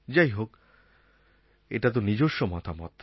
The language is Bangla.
যাই হোক এটাতো নিজস্ব মতামত